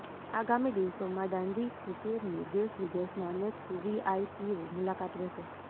આગામી દિવસોમાં દાંડીકુટિરની દેશવિદેશના અનેક વીવીઆઇપીઓ મુલાકાત લેશે